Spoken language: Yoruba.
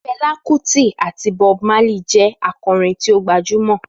Fela Kuti àti Bob Marley jẹ́ akọrin tí ó gbajúmọ̀.